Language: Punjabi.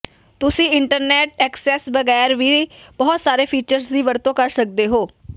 ਤੁਸੀਂ ਇੰਟਰਨੈੱਟ ਐਕਸੈਸ ਬਗੈਰ ਵੀ ਬਹੁਤ ਸਾਰੇ ਫੀਚਰਸ ਦੀ ਵਰਤੋਂ ਕਰ ਸਕਦੇ ਹੋ